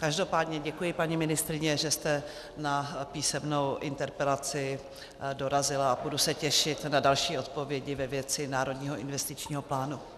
Každopádně děkuji, paní ministryně, že jste na písemnou interpelaci dorazila, a budu se těšit na další odpovědi ve věci Národního investičního plánu.